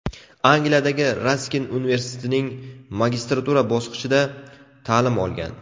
Angliyadagi Raskin universitetining magistratura bosqichida ta’lim olgan.